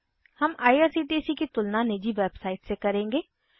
हम आईआरसीटीसी की तुलना निजी वेबसाइट से करेंगे